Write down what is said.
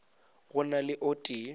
go na le o tee